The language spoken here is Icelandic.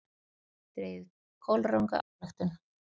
Dregið kolranga ályktun!